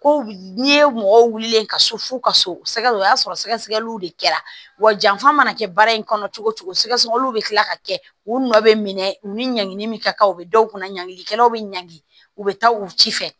Ko n'i ye mɔgɔw wulilen ka so fu ka so o y'a sɔrɔ sɛgɛsɛgɛliw de kɛra wa janfa mana kɛ baara in kɔnɔ cogo cogo sɛgɛsɛgɛliw bɛ kila ka kɛ u nɔ bɛ minɛ u ni ɲangili min ka kan u bɛ dɔw kunna ɲangikɛlaw bɛ ɲangi u bɛ taa u ci fɛ